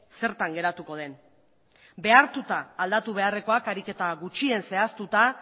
zertan geratuko den ere behartuta aldatu beharrekoak ariketa gutxien zehaztuta